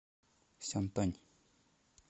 сянтань